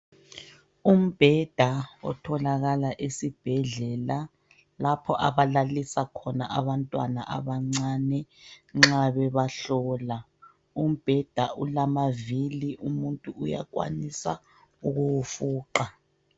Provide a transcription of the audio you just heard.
Umbheda otholakala esibhedlela lapho abalalisa khona abantwana abancane nxa bebahlola, umbheda ulamavili umuntu uyakwanisa ukuwufuqa.